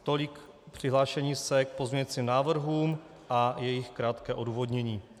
Tolik přihlášení se k pozměňovacím návrhům a jejich krátké odůvodnění.